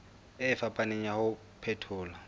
e fapaneng ya ho phethola